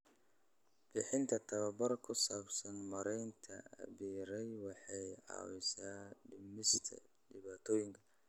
Bixinta tababar ku saabsan maaraynta apiary waxay caawisaa dhimista dhibaatooyinka.